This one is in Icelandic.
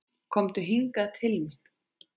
Komdu hingað til mín.